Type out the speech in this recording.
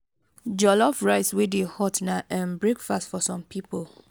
jollof rice wey dey hot na um breakfast for some pipo